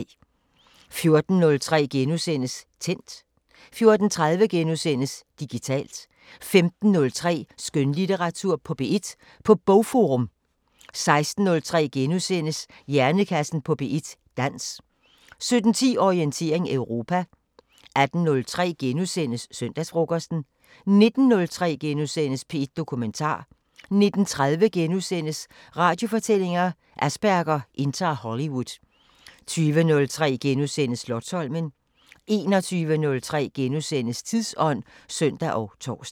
14:03: Tændt * 14:30: Digitalt * 15:03: Skønlitteratur på P1 på Bogforum! 16:03: Hjernekassen på P1: Dans * 17:10: Orientering Europa 18:03: Søndagsfrokosten * 19:03: P1 Dokumentar * 19:30: Radiofortællinger: Asperger indtager Hollywood * 20:03: Slotsholmen * 21:03: Tidsånd *(søn og tor)